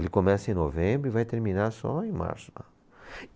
Ele começa em novembro e vai terminar só em março lá.